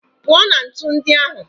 Pụọ na ntu ndị ahụ!